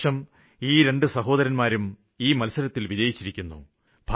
ഈ വര്ഷം ഈ രണ്ടു സഹോദരന്മാരും ഈ മത്സരങ്ങളില് വിജയിച്ചിരിക്കുന്നു